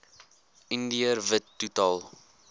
indiër wit totaal